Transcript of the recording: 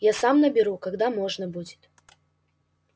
я сам наберу когда можно будет